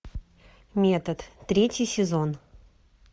метод третий сезон